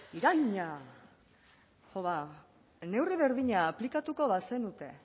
iraina neurri berdina aplikatuko bazenute